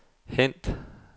hent